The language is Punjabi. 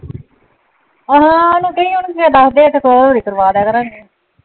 ਆਹੋ ਉਹਨੂੰ ਕਹੀਂ ਉਹਨੂੰ ਕਹਿ ਦੱਸ ਦੇ ਇੱਥੇ . ਕਰਵਾ ਦਿਆ ਕਰਾਂਗੇ।